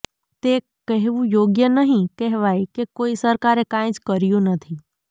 તે કહેવું યોગ્ય નહીં કહેવાય કે કોઈ સરકારે કાંઈ જ કર્યું નથી